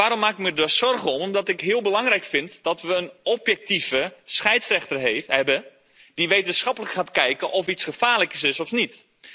En waarom maak ik me daar zorgen over? Omdat ik het heel belangrijk vind dat we een objectieve scheidsrechter hebben die wetenschappelijk gaat kijken of iets gevaarlijk is of niet.